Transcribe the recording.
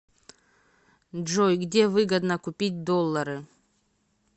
джой где выгодно купить доллары